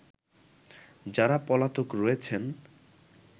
যারা পলাতক রয়েছেন